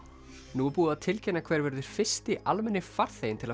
nú er búið að tilkynna hver verður fyrsti almenni farþeginn til að